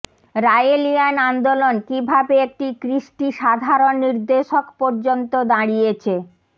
Raelian আন্দোলন কিভাবে একটি কৃষ্টি সাধারণ নির্দেশক পর্যন্ত দাঁড়িয়েছে